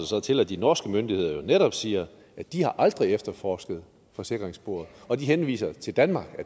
så til at de norske myndigheder netop siger at de aldrig har efterforsket forsikringssporet og at de henviser til danmark og